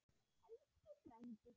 Elsku frændi.